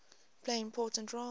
play important roles